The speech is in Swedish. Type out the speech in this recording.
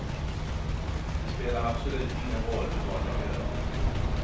Det spelar absolut ingen roll vad jag gör.